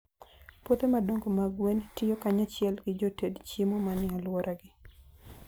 Puothe madongo mag gwen tiyo kanyachiel gi joted chiemo manie alworagi.